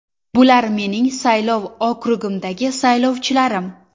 Bular mening saylov okrugimdagi saylovchilarim.